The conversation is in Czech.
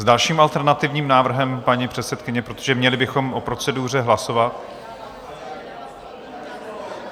S dalším alternativním návrhem paní předsedkyně, protože měli bychom o proceduře hlasovat.